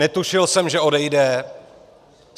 Netušil jsem, že odejde.